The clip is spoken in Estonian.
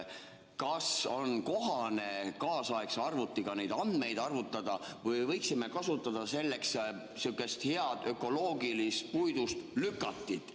Kas on kohane kaasaegse arvutiga neid andmeid arvutada või võiksime kasutada selleks sihukest head ökoloogilist puidust lükatit?